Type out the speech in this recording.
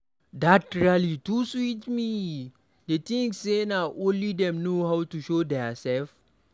Dat rally too sweet me, dey think say na only dem no how to show their self.